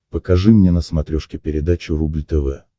покажи мне на смотрешке передачу рубль тв